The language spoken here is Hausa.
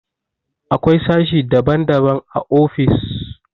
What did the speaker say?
Akwai sashi daban-daban a ofis.